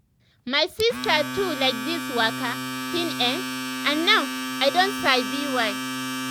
my sister too like this waka thing[um]and now i don sabi why.